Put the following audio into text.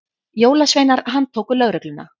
Jólasveinar handtóku lögregluna